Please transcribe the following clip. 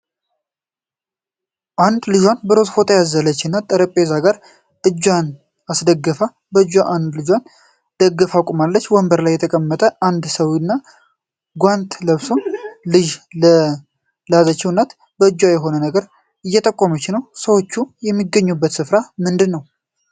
አንድ ልጇን በሮዝ ፎጣ ያዘለች እናት ጠረጴዛ ጋር እጇን አስደግፋ በአንድ እጇ ልጇን ደግፋ ቆማለች። በወንበር ላይ የተቀመጠ አንድ ሰዉም ጓንት ለብሶ ልጅ ላዘለችው እናት በእጁ የሆነ ነገር እየጠቆማት ነው። ሰዎቹ የሚገኙበት ስፍራ ምንድን ነው?